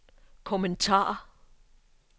kommentar